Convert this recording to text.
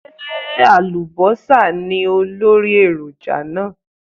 Ṣé àlùbọ́sà ní olórí èròjà náà?